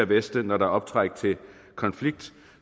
veste når der er optræk til konflikt